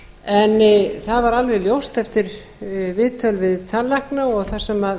en það var alveg ljóst eftir viðtöl við tannlækna og það sem